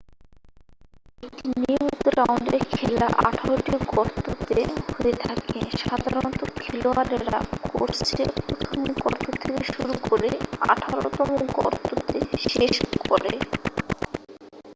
একটি নিয়মিত রাউন্ডের খেলা আঠারোটি গর্ততে হয়ে থাকে সাধারনত খেলোয়াড়েরা কোর্সে প্রথম গর্ত থেকে শুরু করে আঠারোতম গর্ততে শেষ করে